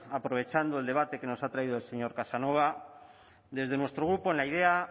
aprovechando el debate que nos ha traído el señor casanova desde nuestro grupo en la idea